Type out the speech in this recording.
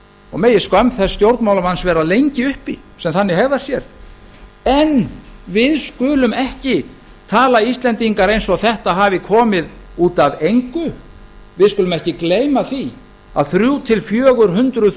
og megi skömm þess stjórnmálamanns vera lengi uppi sem þannig hegðar sér en við skulum ekki tala íslendingar eins og þetta hafi komið út af engu við skulum ekki gleyma því að þrjú til fjögur hundruð